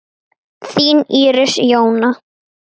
Þín Íris Jóna.